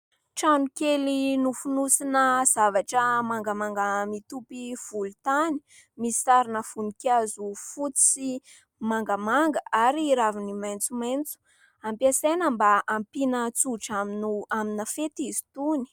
Trano kely nofonosina zavatra mangamanga mitopy volontany misy sarina voninkazo fotsy mangamanga ary raviny maitsomaitso. Ampiasaina mba hampiana tsodrano amina fety izy itony.